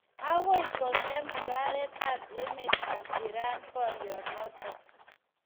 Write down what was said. Akoi kong'em Mung'areet ab emet ab Iran boryoo notok